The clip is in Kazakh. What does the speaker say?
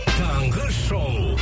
таңғы шоу